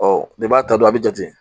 bɛɛ b'a ta don a be jate.